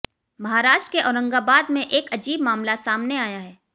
महाराष्ट्र के औरंगाबाद में एक अजीब मामला सामने आया है